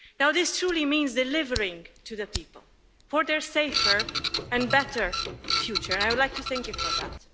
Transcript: Now this truly means delivering to the people for their safer and better future, and I would like to thank you for that.